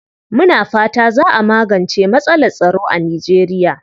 Muna fata za a magance matsalar tsaro a Nijeriya.